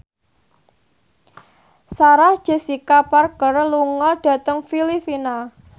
Sarah Jessica Parker lunga dhateng Filipina